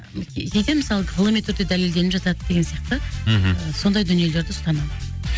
мысалы ғылыми түрде дәлелденіп жатады деген сияқты мхм сондай дүниелерді ұстанамын